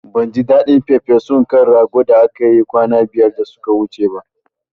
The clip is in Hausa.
Ban ji daɗin farfesun kan ragon da kika yi kwana biyar da suka wuce ba